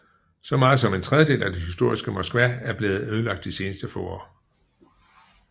Så meget som en tredjedel af det historiske Moskva er blevet ødelagt de seneste få år